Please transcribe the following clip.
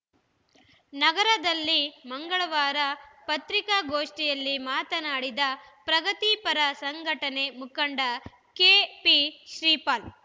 ನಗರದಲ್ಲಿ ಮಂಗಳವಾರ ಪತ್ರಿಕಾಗೋಷ್ಠಿಯಲ್ಲಿ ಮಾತನಾಡಿದ ಪ್ರಗತಿಪರ ಸಂಘಟನೆ ಮುಖಂಡ ಕೆಪಿ ಶ್ರೀಪಾಲ್‌